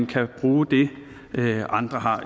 kan bruge det andre har